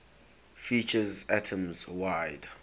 features atoms wide